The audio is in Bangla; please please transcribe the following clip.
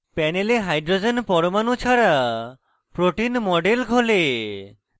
panel hydrogen পরমাণু ছাড়া protein model খোলে